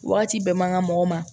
Wagati bɛɛ man ka mɔgɔ ma